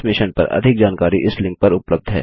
इस मिशन पर अधिक जानकारी इस लिंक पर उपलब्ध है